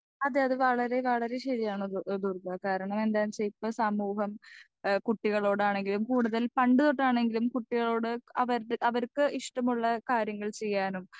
speaker 2 അതെ അത് വളരെ വളരെ ശരിയാണ് അത് ദുർഗ കരണന്താ ച്വ ഇപ്പൊ സമൂഹം ഏഹ് കുട്ടികളോടാണെങ്കിലും കൂടുതൽ പണ്ട് തൊട്ടാണെങ്കിലും കുട്ടികളോട് അവരടെ അവർക്ക് ഇഷ്ട്ടമുള്ള കാര്യങ്ങൾ ചെയ്യാനും